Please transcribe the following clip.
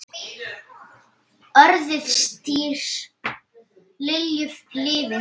Orðstír Lilju lifir.